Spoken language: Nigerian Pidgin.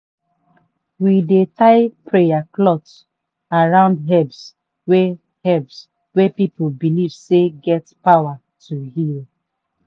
we dey tie prayer cloth around herbs wey herbs wey people believe say get power to heal.